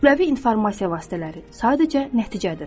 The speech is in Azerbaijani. Kütləvi informasiya vasitələri sadəcə nəticədir.